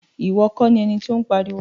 Iwọ kọ ni ẹní ti o n pariwo.